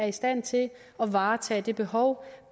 i stand til at varetage det behov